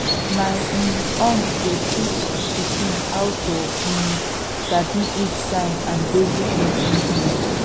my um aunt dey teach pikin how to um sabi heat sign and basic mating things